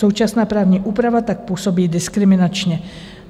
Současná právní úprava tak působí diskriminačně.